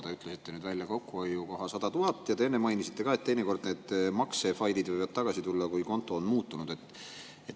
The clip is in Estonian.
Te ütlesite välja kokkuhoiu 100 000 ja te enne mainisite ka, et teinekord need maksefailid võivad tagasi tulla, kui konto on muutunud.